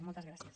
moltes gràcies